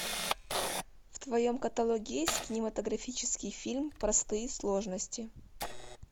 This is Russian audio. в твоем каталоге есть кинематографический фильм простые сложности